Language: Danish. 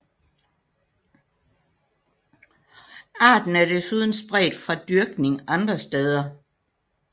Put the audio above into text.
Arten er desuden spredt fra dyrkning andre steder